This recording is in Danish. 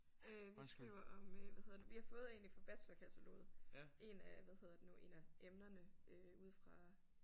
Øh vi skriver om øh hvad hedder det vi har fået egentlig fra bachelorkataloget en af hvad hedder det nu en af emnerne øh ude fra